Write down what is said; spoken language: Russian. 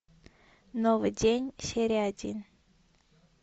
новый день серия один